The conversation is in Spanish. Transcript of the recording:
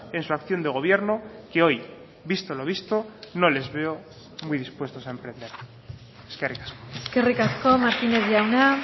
en su acción de gobierno que hoy visto lo visto no les veo muy dispuestos a emprender eskerrik asko eskerrik asko martínez jauna